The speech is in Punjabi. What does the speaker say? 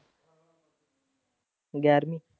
ਗਿਆਰਵੀਂ।